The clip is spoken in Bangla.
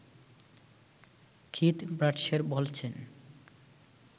কিথ ব্রাডশের বলছেন